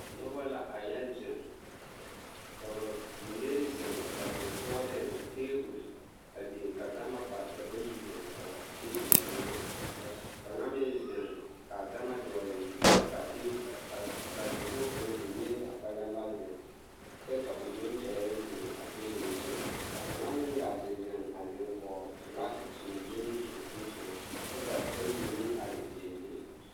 Nobɔ la a yɛ zeŋ ka bamine zeŋ ba sonsooleŋ ka teebol a biŋ ka gama pare ka bayi zeŋ kɔɔ a teebol kaŋa ka kaŋa meŋ zeŋ k'a gama dɔɔle kyɛ kyɛre ka a teebol k'a dakogi kaŋa a biŋ neɛzaa kpɛlɛm ba zeŋ kyɛ ka o yoŋ tɛɛ zeŋ a teebol zu, kaŋa meŋ gaa te zeŋ a zeŋ kɔɔ filaki naŋ leŋ a zie kaŋa kyɛ ka bayi meŋ are dendeŋ.